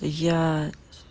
я